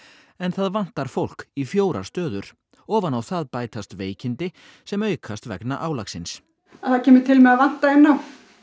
en það vantar fólk í fjórar stöður ofan á það bætast veikindi sem aukast vegna álagsins það kemur til með að vanta inn á